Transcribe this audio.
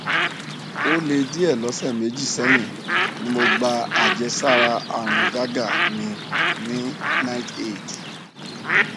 o le die lọsẹ meji sẹyin ni mo gba ajesara arun gaga mi ni riteaid